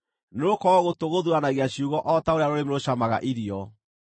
Nĩgũkorwo gũtũ gũthuuranagia ciugo o ta ũrĩa rũrĩmĩ rũcamaga irio.